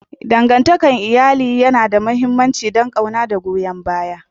Dangantakar iyali yana da mahimmanci don ƙauna da goyon baya.